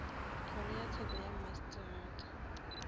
kgoro ya tsheko ya mmasetrata